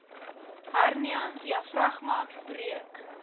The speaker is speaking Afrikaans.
hernia diafragma breuk